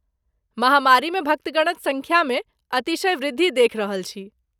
महामारीमे भक्तगणक सङ्ख्यामे अतिशय वृद्धि देखि रहल छी।